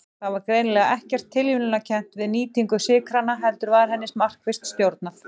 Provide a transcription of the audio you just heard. Það var greinilega ekkert tilviljunarkennt við nýtingu sykranna heldur var henni markvisst stjórnað.